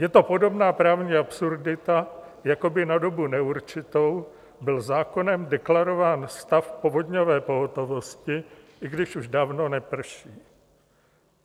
Je to podobná právní absurdita, jako by na dobu neurčitou byl zákonem deklarován stav povodňové pohotovosti, i když už dávno neprší.